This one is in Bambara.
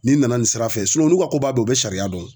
Ni n nana nin sira fɛ n'u ka koba don u be sariya dɔn.